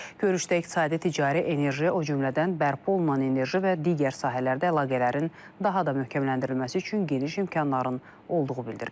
Görüşdə iqtisadi, ticari, enerji, o cümlədən bərpa olunan enerji və digər sahələrdə əlaqələrin daha da möhkəmləndirilməsi üçün geniş imkanların olduğu bildirilib.